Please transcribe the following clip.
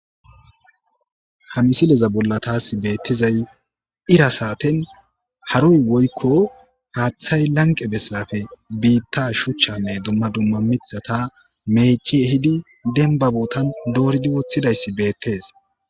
Ha misileza bolla taasi beettizay ira saaten haroy woykko haaththay lanqe besappe biitta shuchchanne dumma dumma miththata meecci ehidi dembba boottan ehidi dooridi woththidayssi beettes.